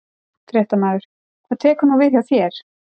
Fréttamaður: Hvað tekur nú við hjá þér?